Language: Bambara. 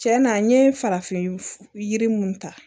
Cɛn na n ye farafinf yiri mun ta